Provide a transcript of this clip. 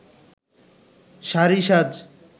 শাড়ি সাজ